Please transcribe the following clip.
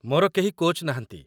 ମୋର କେହି କୋଚ୍‌ ନାହାନ୍ତି ।